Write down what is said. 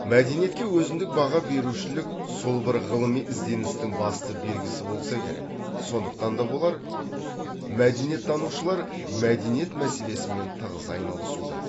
мәдениетке өзіндік баға берушілік сол бір ғылыми ізденістің басты белгісі болса керек сондықтан да болар мәдениеттанушылар мәдениет мәселесімен тығыз айналысуда